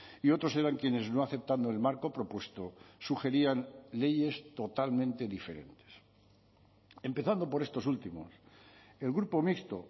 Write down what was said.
y otros eran quienes no aceptando el marco propuesto sugerían leyes totalmente diferentes empezando por estos últimos el grupo mixto